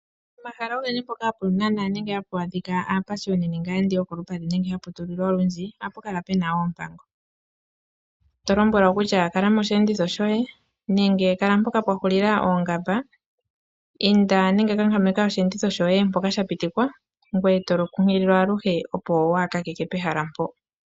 Pomahala ogendji ngoka haga nana nenge hapu adhika aapashioni nenge aayendi yokolupadhi nenge hapu tulilwa olundji, ohapu kala pu na oompango. Oho lombwelwa kutya kala mosheenditho shoye nenge kala mpoka pwa hulila oongamba, inda nenge kankameka osheenditho shoye mpoka sha pitikwa, ngoye to kunkililwa aluhe, opo waa kakeke pehala mpoka.